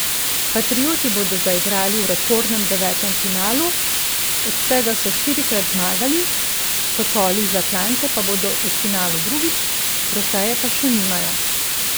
Patrioti bodo zaigrali v rekordnem devetem finalu, od tega so štirikrat zmagali, Sokoli iz Atlante pa bodo v finalu drugič, trofeje pa še nimajo.